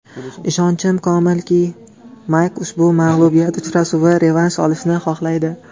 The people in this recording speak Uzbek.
Ishonchim komilki, Mayk ushbu mag‘lubiyat uchun revansh olishni xohlaydi.